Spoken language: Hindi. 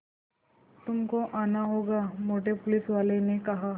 तुमको आना होगा मोटे पुलिसवाले ने कहा